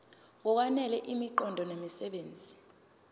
ngokwanele imiqondo nemisebenzi